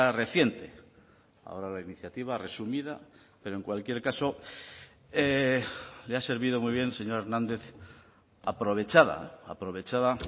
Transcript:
reciente ahora la iniciativa resumida pero en cualquier caso le ha servido muy bien señor hernández aprovechada aprovechada